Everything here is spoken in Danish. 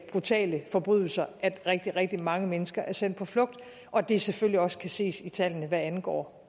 brutale forbrydelser at rigtig rigtig mange mennesker sendes på flugt og at det selvfølgelig også kan ses på tallene hvad angår